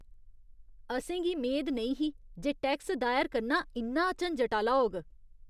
असें गी मेद नेईं ही जे टैक्स दायर करना इन्ना झंजट आह्‌ला होग!